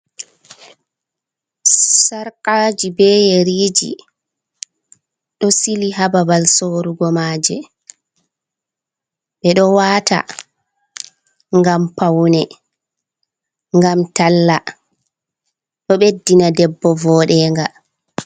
Sarkaji be yeriji ɗo sili hababal sorugo maje. Ɓe ɗo wata ngam pawne, ngam talla. Ɗo ɓeddina debbo voɗe nga.